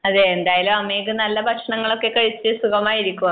എന്തായാലും അമേഘ് നല്ല ഭക്ഷണമൊക്കെ കഴിച്ചു സുഖമായിരിക്കൂ അമേഘ്